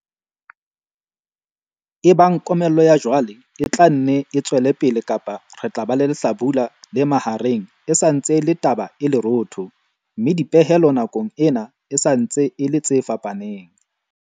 Ebang komello ya jwale e tla nne e tswele pele kapa re tla ba le lehlabula le mahareng e sa ntse e le taba e lerootho, mme dipehelo nakong ena e sa ntse e le tse fapaneng.